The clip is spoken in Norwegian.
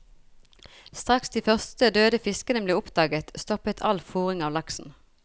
Straks de første døde fiskene ble oppdaget, stoppet all fôring av laksen.